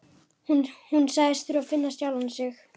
Hún sagðist þurfa að finna sjálfa sig.